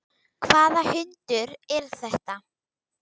Hvaða hundur er þetta?